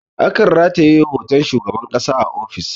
A kan rataye hoton shugaban ƙasa a ofis